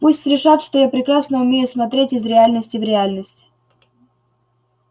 пусть решат что я прекрасно умею смотреть из реальности в реальность